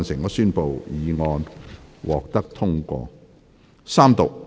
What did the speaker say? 我宣布議案獲得通過。